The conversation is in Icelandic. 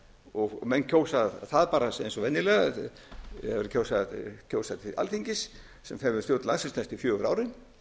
og menn kjósa það bara eins og venjulega þegar verið er að kjósa til alþingis sem fer með stjórn landsins næstu fjögur árin